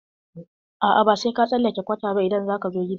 A'a, ba sai ka tsallake kwata ba idan za ka zo gidan mu.